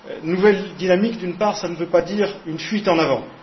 Nouvelle dynamique, d'une part, cela ne veut pas dire une fuite en avant.